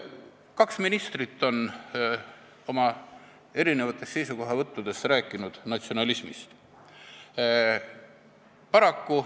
Kaks ministrit on oma seisukohavõttudes rääkinud natsionalismist.